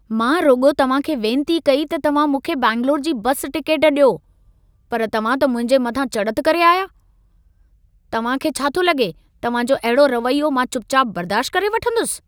मां रुॻो तव्हां खे वेंती कई त तव्हां मूंखे बेंगलूरू जी बस टिकेट ॾियो। पर तव्हां त मुंहिंजे मथां चड़त करे आया। तां खे छा थो लॻे, तव्हां जो अहिड़ो रवैयो मां चुपचाप बर्दाश्त करे वठंदुसि?